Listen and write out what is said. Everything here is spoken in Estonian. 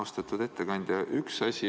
Austatud ettekandja!